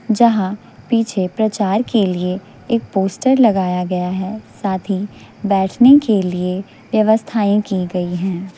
जहां पीछे प्रचार के लिए एक पोस्टर लगाया गया है साथ ही बैठने के लिए व्यवस्थाएं की गई हैं।